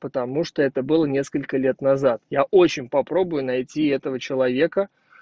потому что это было несколько лет назад я очень попробую найти этого человека